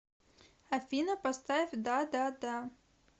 афина поставь да да да